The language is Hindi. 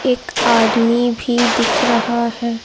एक आदमी भी दिख रहा है।